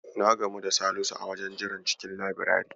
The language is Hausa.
Na gamu da Salisu a wajen jiran cikin labirari.